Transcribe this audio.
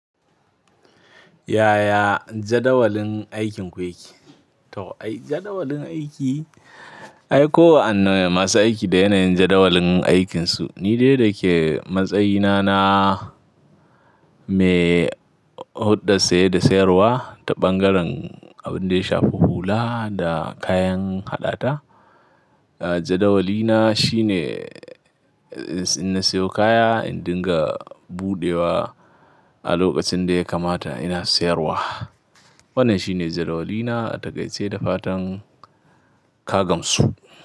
Yaya jadawalin aikinku yake? To ai jadawalin aiki, ai kowa an ne masu aiki da yanayin jadawalin aikinsu. Ni dai da ke matsayina na mai hulɗar saye da sayarwa ta ɓangaren abin da ya shafi hula da kayan haɗata. Jadawalina shine in na siyo kaya, in dinga buɗewa a lokacin da ya kamata ina sayarwa. Wannan shine jadawalina daga gaishe da fatan ka gamsu.